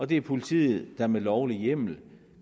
det er politiet der med lovlig hjemmel